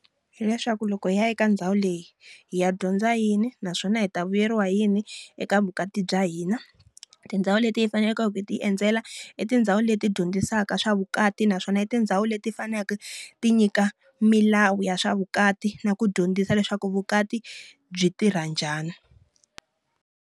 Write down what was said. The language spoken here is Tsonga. Hileswaku loko hi ya eka ndhawu leyi, hi ya dyondza yini naswona hi ta vuyeriwa hi yini eka vukati bya hina. Tindhawu leti hi faneleke ku hi ti endzela, i tindhawu leti dyondzisaka swa vukati naswona i tindhawu leti faneleke ti nyika milawu ya swa vukati na ku dyondzisa leswaku vukati byi tirha njhani.